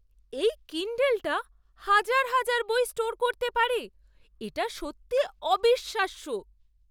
এই কিণ্ডলটা হাজার হাজার বই স্টোর করতে পারে। এটা সত্যি অবিশ্বাস্য!